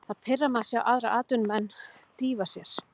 Það pirrar mig að sjá aðra atvinnumenn dýfa sér.